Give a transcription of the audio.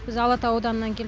біз алатау ауданынан келіп